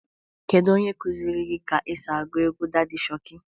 Kedu onye kuzịrị gi ka esi agụ egwu Dadị Shokị?